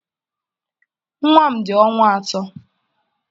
Nwa m dị ọnwa atọ.